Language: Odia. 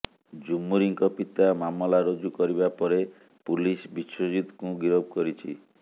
ଝୁମୁରିଙ୍କ ପିତା ମାମଲା ରୁଜୁ କରିବା ପରେ ପୁଲିସ ବିଶ୍ୱଜିତଙ୍କୁ ଗିରଫ କରିଛି